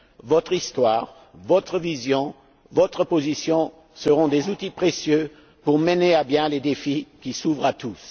Votre histoire, votre vision, votre position, seront des outils précieux pour mener à bien les défis qui s'ouvrent à